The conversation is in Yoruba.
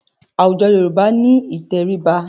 Awùjọ̀ Yorùbá ni ìtẹríba.